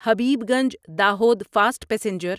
Habibganj Dahod fast passenger